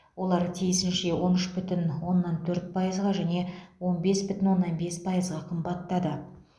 олар тиісінше он үш бүтін оннан төрт пайызға және он бес бүтін оннан бес пайызға қымбаттады